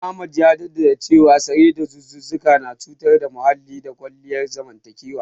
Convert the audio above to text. Ahmad ya jaddada cewa sare dazuzzuka na cutar da muhalli da kawo illar zamantakewa.